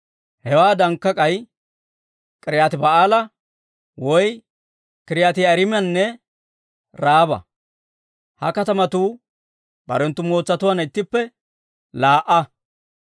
Hewaadankka k'ay K'iriyaati-Ba'aala woy K'iriyaati-Yi'aariimanne Raaba. Ha katamatuu barenttu mootsatuwaanna ittippe laa"a.